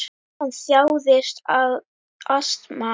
Hann þjáðist af astma.